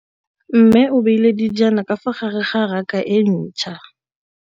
Mmê o beile dijana ka fa gare ga raka e ntšha.